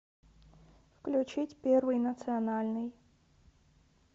включить первый национальный